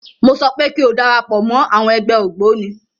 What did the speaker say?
Mọ sọ pé kí o darapọ̀ mọ́ àwọn ẹgbẹ́ ògbóni.